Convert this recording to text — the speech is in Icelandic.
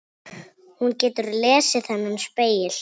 Hún getur lesið þennan spegil.